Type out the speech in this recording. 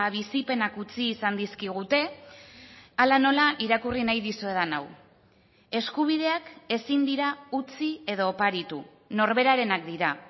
bizipenak utzi izan dizkigute hala nola irakurri nahi dizuedan hau eskubideak ezin dira utzi edo oparitu norberarenak dira